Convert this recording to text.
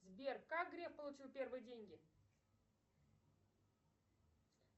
сбер как греф получил первые деньги